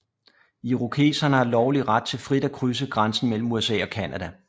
Irokesere har lovlig ret til frit at krydse grænsen mellem USA og Canada